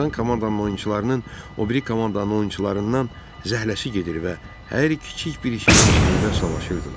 Uduzan komandanın oyunçularının o biri komandanın oyunçularından zəhləsi gedir və hər kiçik bir şeyin üstündə savaşırdılar.